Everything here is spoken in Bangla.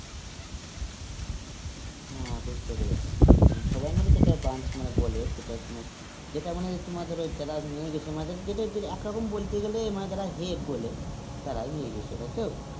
হ্যাঁ বুঝতে পেরেছি, সবাই মিলে যেটা branch মানে বলে যেটা মানে তোমার ধরো যারা নিয়ে গেছিল, মানে একরকম বলতে গেলে যারা head বলে তারাই নিয়ে গেছিল, তাইতো?